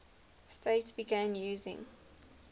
states began using